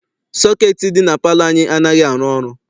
Sọketi dị na palọ anyị anaghị arụ ọrụ.